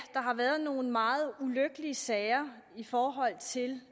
der har været nogle meget ulykkelige sager i forhold til